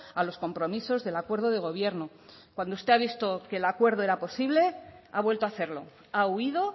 a los compromisos del acuerdo de gobierno cuando usted ha visto que el acuerdo era posible ha vuelto a hacerlo ha huido